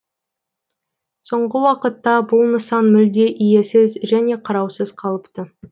соңғы уақытта бұл нысан мүлде иесіз және қараусыз қалыпты